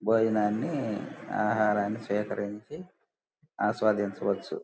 భోజనాన్ని ఆహారాన్ని స్వీకరించి ఆస్వాదించవచ్చు.